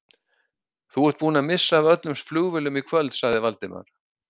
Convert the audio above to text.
Þú ert búinn að missa af öllum flugvélum í kvöld sagði Valdimar.